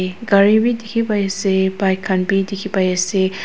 gari bi dikhipaiase bike khan bi dikhipaiase.